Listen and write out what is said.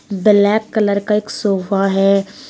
Black colour का एक sofa है।